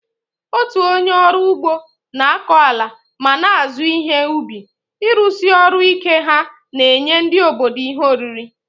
Otu onye ọrụ ugbo na-akọ ala ma na-azụ ihe ubi, ịrụsi ọrụ ike ha na-enye ndị obodo ihe oriri.